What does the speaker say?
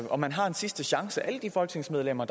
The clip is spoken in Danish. og man har en sidste chance alle de folketingsmedlemmer